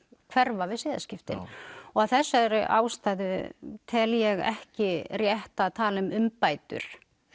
hverfa við siðaskiptin og af þessari ástæðu tel ég ekki rétt að tala um umbætur